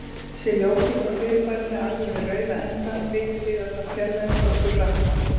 Sé ljósið frá fyrirbærinu alveg við rauða endann, vitum við að það fjarlægist okkur hratt.